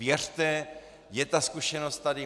Věřte, je ta zkušenost tady.